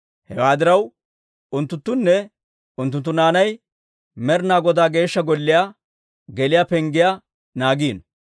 Hewaa diraw, unttunttune unttunttu naanay Med'inaa Godaa Geeshsha Golliyaa geliyaa penggiyaa naagiino.